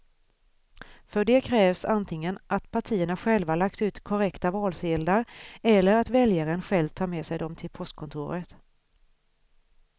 För det krävs antingen att partierna själva lagt ut korrekta valsedlar eller att väljaren själv tar med sig dem till postkontoret.